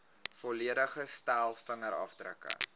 volledige stel vingerafdrukke